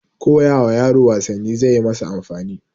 koyawa yaro wasanni zaiyi masa amfani